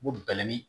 Ko bɛlɛnin